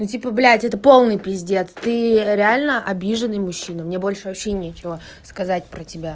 ну типа блять это полный пиздец ты реально обиженный мужчина мне больше вообще нечего сказать про тебя